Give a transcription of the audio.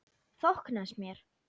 Þóknast mér?